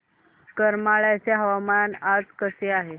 करमाळ्याचे हवामान आज कसे आहे